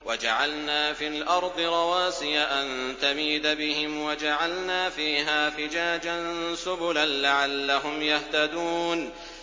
وَجَعَلْنَا فِي الْأَرْضِ رَوَاسِيَ أَن تَمِيدَ بِهِمْ وَجَعَلْنَا فِيهَا فِجَاجًا سُبُلًا لَّعَلَّهُمْ يَهْتَدُونَ